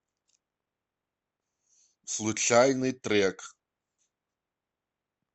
случайный трек